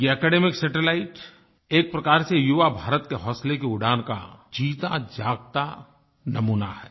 ये academic satellite एक प्रकार से युवा भारत के हौसले की उड़ान का जीता जागता नमूना है